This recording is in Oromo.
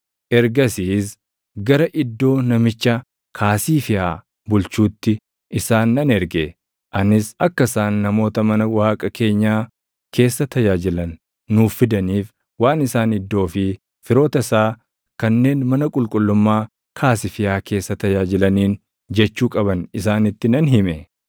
ergasiis gara Iddoo namicha Kaasiifiyaa bulchuutti isaan nan erge. Anis akka isaan namoota mana Waaqa keenyaa keessa tajaajilan nuuf fidaniif waan isaan Iddoo fi firoota isaa kanneen mana qulqullummaa Kaasifiyaa keessa tajaajilaniin jechuu qaban isaanitti nan hime.